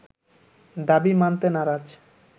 দাবি মানতে নারাজ